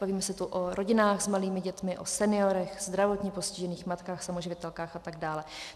Bavíme se tu o rodinách s malými dětmi, o seniorech, zdravotně postižených, matkách samoživitelkách atd.